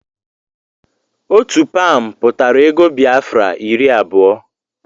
Ọgụ Pam pụtara ego Biafra iri abụọ